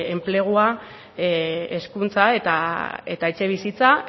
enplegua hezkuntza eta etxebizitza